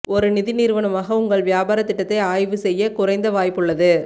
ஒரு நிதி நிறுவனமாக உங்கள் வியாபாரத் திட்டத்தை ஆய்வு செய்ய குறைந்த வாய்ப்புள்ளது